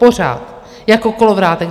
Pořád jako kolovrátek.